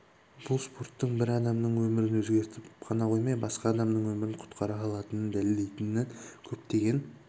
бұл спорттың бір адамның өмірін өзгертіп қана қоймай басқа адамның өмірін құтқара алатынын дәлелдейтін көптеген